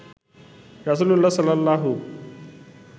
রাসূলুল্লাহ সাল্লাল্লাহু